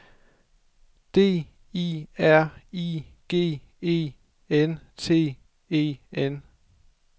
D I R I G E N T E N